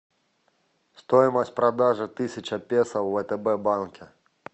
стоимость продажи тысяча песо в втб банке